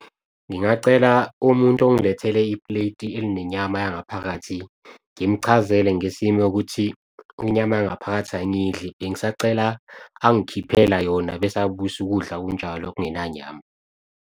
Ngingacela umuntu ongilethele ipleti eline inyama yangaphakathi, ngimchazele ngesimo ukuthi inyama yangaphakathi angiyidli bengisacela angikhiphele yona, bese abuyisa ukudla kunjalo okungena nyama.